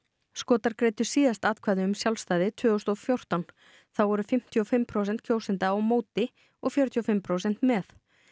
Skotar greiddu síðast atkvæði um sjálfstæði tvö þúsund og fjórtán þá voru fimmtíu og fimm prósent kjósenda á móti og fjörutíu og fimm prósent með